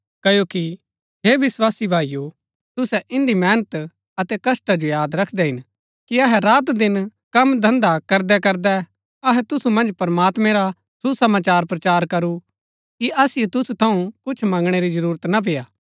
क्ओकि हे विस्वासी भाईओ तुसै इन्दी मेहनत अतै कष्‍टा जो याद रखदै हिन कि अहै रातदिन कम धन्‍धा करदैकरदै अहै तुसु मन्ज प्रमात्मैं रा सुसमाचार प्रचार करू कि असिओ तुसु थऊँ कुछ मंगणै री जरूरत ना पेय्आ